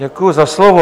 Děkuji za slovo.